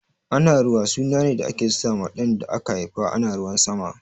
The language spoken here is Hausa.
Anaruwa suna ne da ake sa ma ɗan da aka haifa ana ruwan sama